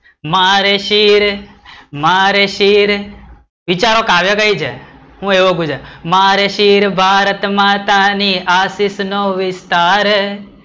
મારે શિર, મારે શિર, વિચારો કાવ્ય કઈ છે, હું એવો ગુજરાત, મારે શિર ભારતમાતા ની આશિષ નો વિસ્તાર